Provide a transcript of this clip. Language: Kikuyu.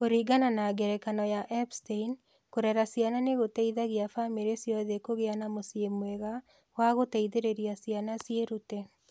Kũringana na Ngerekano ya Epstein, kũrera ciana nĩ gũteithagia famĩlĩ ciothe kũgĩa na mũciĩ mwega wa gũteithĩrĩria ciana ciĩrute.